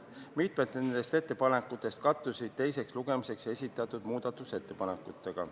Mitmed nendest ettepanekutest kattusid teiseks lugemiseks esitatud muudatusettepanekutega.